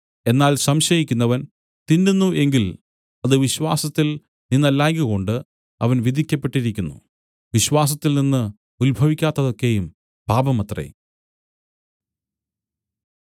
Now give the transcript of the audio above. എന്നാൽ സംശയിക്കുന്നവൻ തിന്നുന്നു എങ്കിൽ അത് വിശ്വാസത്തിൽ നിന്നല്ലായ്കകൊണ്ട് അവൻ വിധിക്കപ്പെട്ടിരിക്കുന്നു വിശ്വാസത്തിൽ നിന്നു ഉത്ഭവിക്കാത്തതൊക്കെയും പാപമത്രേ